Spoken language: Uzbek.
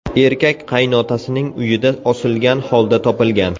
Erkak qaynotasining uyida osilgan holda topilgan.